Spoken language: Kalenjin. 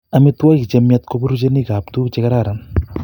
Amitwogik chemiach ko puruchenikap tuguk che kararan